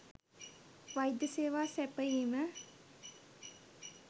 වෛද්‍ය සේවා සැපයීම